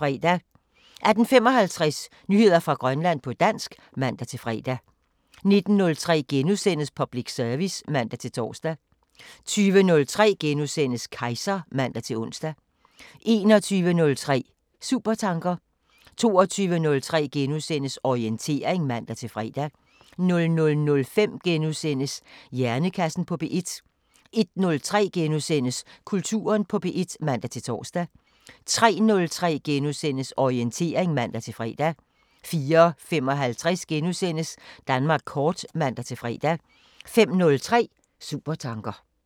18:55: Nyheder fra Grønland på dansk (man-fre) 19:03: Public service *(man-tor) 20:03: Kejser *(man-ons) 21:03: Supertanker 22:03: Orientering *(man-fre) 00:05: Hjernekassen på P1 * 01:03: Kulturen på P1 *(man-tor) 03:03: Orientering *(man-fre) 04:55: Danmark kort *(man-fre) 05:03: Supertanker